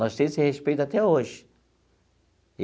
Nós temos esse respeito até hoje.